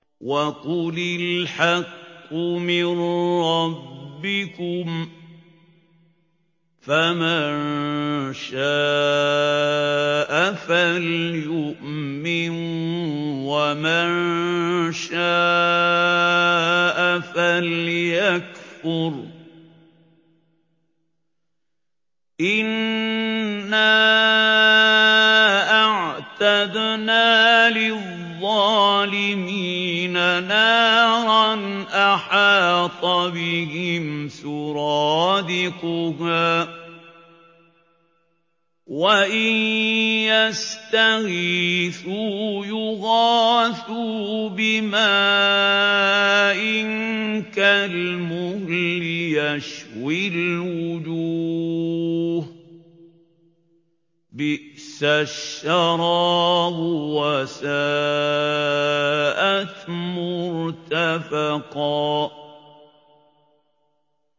وَقُلِ الْحَقُّ مِن رَّبِّكُمْ ۖ فَمَن شَاءَ فَلْيُؤْمِن وَمَن شَاءَ فَلْيَكْفُرْ ۚ إِنَّا أَعْتَدْنَا لِلظَّالِمِينَ نَارًا أَحَاطَ بِهِمْ سُرَادِقُهَا ۚ وَإِن يَسْتَغِيثُوا يُغَاثُوا بِمَاءٍ كَالْمُهْلِ يَشْوِي الْوُجُوهَ ۚ بِئْسَ الشَّرَابُ وَسَاءَتْ مُرْتَفَقًا